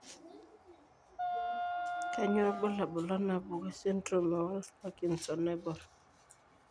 Kainyio irbulabul onaapuku esindirom eWolff Parkinson Naibor?